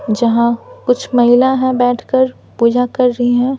जहाँ कुछ महिला है बैठकर पूजा कर रही हैं।